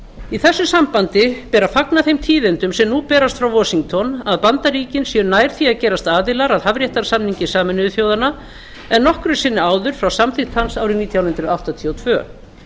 í þessu sambandi ber að fagna þeim tíðindum sem nú berast frá washington að bandaríkin séu nær því að gerast aðilar að hafréttarsamningi sameinuðu þjóðanna en nokkru sinni áður frá samþykkt hans árið nítján hundruð áttatíu og tvö